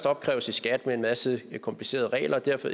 opkræves i skat med en masse komplicerede regler og derefter